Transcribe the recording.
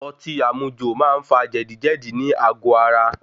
Ọtí àmujò máa ń fa jẹ̀díjẹ̀dí nì àgó ara.